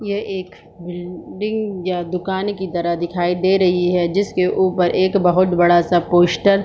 यह एक बिल्डिंग या दुकान की तरह दिखाई दे रही है जिसके उपर एक बहुत बड़ा सा पोस्टर --